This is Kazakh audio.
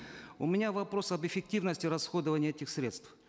у меня вопрос об эффективности расходования этих средств